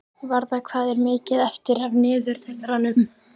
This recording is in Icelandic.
Varða, hvað er mikið eftir af niðurteljaranum?